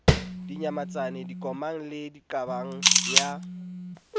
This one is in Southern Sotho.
dinyamatsane dikomang le diqabang ya